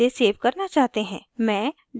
मैं desktop चुनूँगी